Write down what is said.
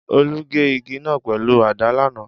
Olú gé igi náà pẹ̀lú àdá lánàá